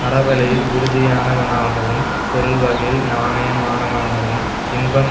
அறவழியில் உறுதியானவனாகவும் பொருள் வகையில் நாணயமானவனாகவும் இன்பம்